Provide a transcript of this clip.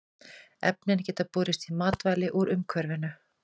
Efnin geta borist í matvæli úr umhverfinu.